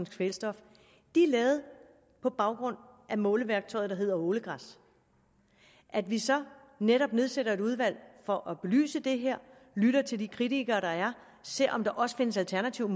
kvælstof er lavet på baggrund af måleværktøjet der hedder ålegræs at vi så netop nedsætter et udvalg for at belyse det her lytter til de kritikere der er ser om der også findes alternative